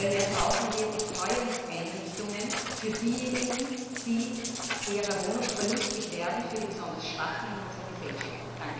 Daher brauchen wir Betreuungseinrichtungen für diejenigen, die ihrer Wohnung verlustig werden, für die besonders Schwachen in unserer Gesellschaft.